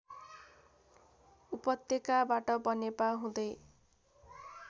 उपत्यकाबाट बनेपा हुँदै